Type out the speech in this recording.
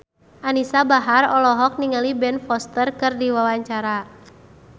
Anisa Bahar olohok ningali Ben Foster keur diwawancara